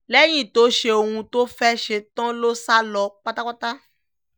lẹ́yìn tó ṣe ohun tó fẹ́ẹ́ ṣe tán ló sá lọ pátápátá